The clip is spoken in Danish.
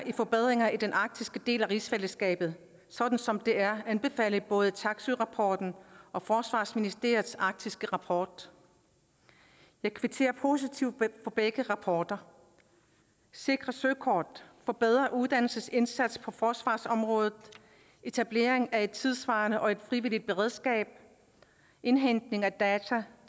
forbedringer i den arktiske del af rigsfællesskabet sådan som det er anbefalet i både taksøerapporten og forsvarsministeriets arktiske rapport jeg kvitterer positivt for begge rapporter sikre søkort forbedret uddannelsesindsats på forsvarsområdet etablering af et tidssvarende og frivilligt beredskab indhentning af data